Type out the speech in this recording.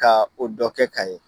Ka o dɔ kɛ ka ye.